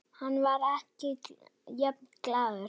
Hann var ekki jafn glaður.